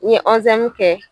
N ye ɔnzɛmu kɛ